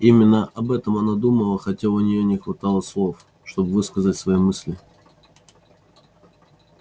именно об этом она думала хотя у неё не хватало слов чтобы высказать свои мысли